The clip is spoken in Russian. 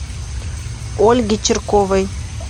ольге чирковой